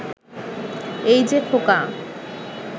এই যে খোকা